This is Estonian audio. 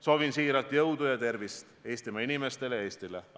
Soovin siiralt jõudu ja tervist Eestimaa inimestele ja Eestile!